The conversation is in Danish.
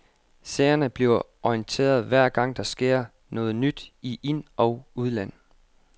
Seerne bliver orienteret hver gang der sker noget nyt i ind- og udland.